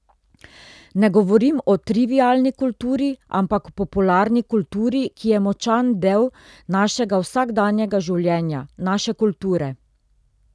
Ne govorim o trivialni kulturi, ampak popularni kulturi, ki je močan del našega vsakdanjega življenja, naše kulture.